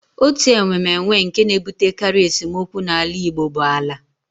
Otu enwemenwe nke na-ebutekarị esemokwu n'ala Igbo bụ ala